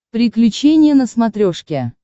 приключения на смотрешке